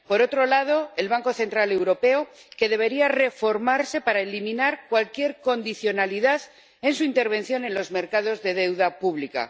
Por otro lado, el Banco Central Europeo, que debería reformarse para eliminar cualquier condicionalidad en su intervención en los mercados de deuda pública.